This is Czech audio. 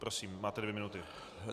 Prosím, máte dvě minuty.